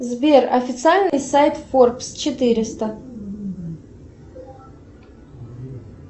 сбер официальный сайт форбс четыреста